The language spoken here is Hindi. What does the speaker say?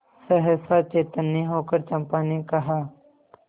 सहसा चैतन्य होकर चंपा ने कहा